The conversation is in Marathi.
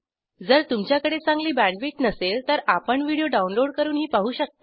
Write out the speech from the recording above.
जर तुमच्याकडे चांगली बॅण्डविड्थ नसेल तर आपण व्हिडिओ डाउनलोड करूनही पाहू शकता